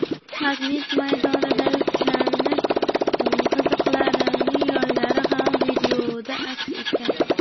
Magnit maydonidagi kuchlanish chiziqlarining yoylari ham videoda aks etgan.